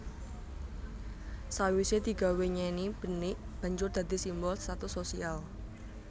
Sawise digawé nyeni benik banjur dadi simbol status sosial